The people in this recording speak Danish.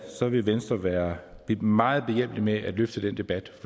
vil venstre være meget behjælpelig med at løfte den debat